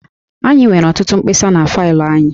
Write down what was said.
Anyị nwere ọtụtụ mkpesa na faịlụ anyị